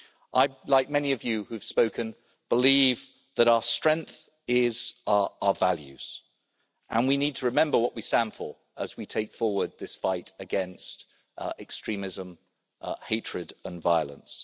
I, like many of you who have spoken, believe that our strength is our values, and we need to remember what we stand for as we take forward this fight against extremism, hatred and violence.